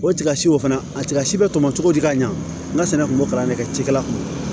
O tigasiw fana a tigasi bɛ tɔmɔ cogo di ka ɲa n ka sɛnɛ kun bɛ kalan de kɛ cikɛla kun